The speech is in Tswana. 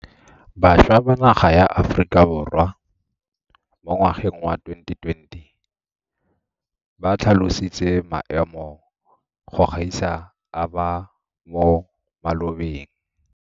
Bašwa ba naga ya Aforika Borwa mo ngwageng wa 2020 ba tlhatlositse maemo go gaisa a ba mo malobeng.